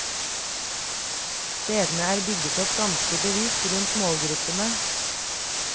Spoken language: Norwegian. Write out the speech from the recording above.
Stedene er bygget opp ganske bevisst rundt målgruppene.